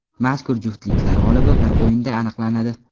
Mazkur juftliklar g‘olibi bir o‘yinda aniqlanadi.